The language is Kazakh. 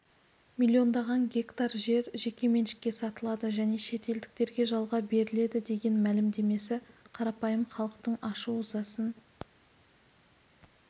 миллиондаған гектар жер жеке меншікке сатылады және шетелдіктерге жалға беріледі деген мәлімдемесі қарапайым халықтың ашу-ызасын